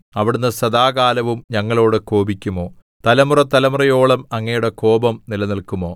അവിടുന്ന് സദാകാലവും ഞങ്ങളോട് കോപിക്കുമോ തലമുറതലമുറയോളം അങ്ങയുടെ കോപം നിലനില്‍ക്കുമോ